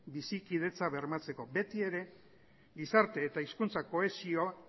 bizikidetza bermatzeko beti ere gizarte eta hizkuntza kohesioa